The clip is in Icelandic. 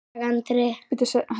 Góðan dag, Andri!